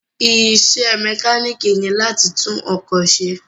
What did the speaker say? Isẹ́ mẹkánìkì ni láti tún ọkọ̀ ṣe